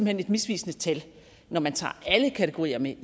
hen et misvisende tal når man tager alle kategorier med